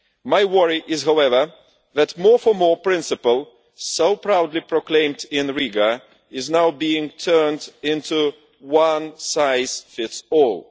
My worry is, however, that the more for more' principle so proudly proclaimed in Riga is now being turned into a one size fits all'.